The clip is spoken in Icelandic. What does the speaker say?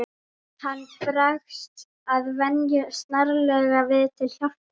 Hann bregst að venju snarlega við til hjálpar.